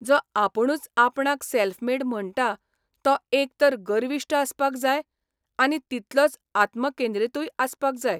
जो आपूणच आपणाक सॅल्फ मेड म्हणटा तो एक तर गर्विश्ठ आसपाक जाय आनी तितलोच आत्मकेंद्रितूय आसपाक जाय.